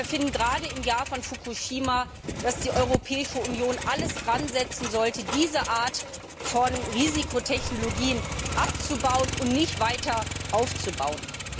Wir finden gerade im Jahr von Fukushima, dass die Europäische Union alles daransetzen sollte, diese Art von Risikotechnologien abzubauen und nicht weiter aufzubauen.